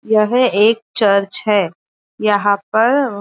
यह एक चर्च है यहाँ पर --